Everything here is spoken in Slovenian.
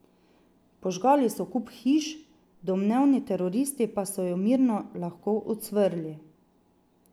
Požgali so kup hiš, domnevni teroristi pa so jo mirno lahko ucvrli.